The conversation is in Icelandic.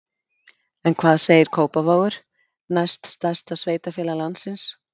En hvað segir Kópavogur, næst stærsta sveitarfélag landsins?